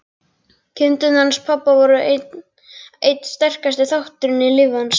Kindurnar hans pabba voru einn sterkasti þátturinn í lífi hans.